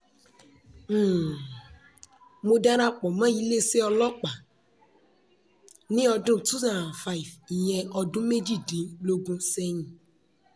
um mo dara pọ̀ mọ́ iléeṣẹ́ ọlọ́pàá um ní ọdún two thousand and five ìyẹn ọdún méjìdínlógún sẹ́yìn